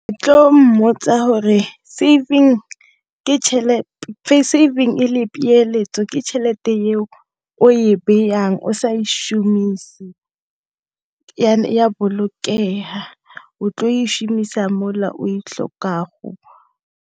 Tlo mmotsa gore saving le peeletso ke tšhelete e o e bayang o sa šomise ya bolokega o tlo e šomisa mola o e tlhokago.